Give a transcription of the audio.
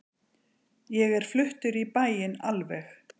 Ég er fluttur í bæinn alveg.